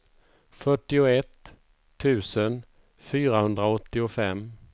fyrtioett tusen fyrahundraåttiofem